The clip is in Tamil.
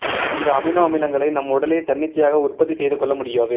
இந்த அமினோ அமிலங்களை நம் உடலே தன்னிச்சையாக உற்பத்தி செய்துகொள்ள முடியாது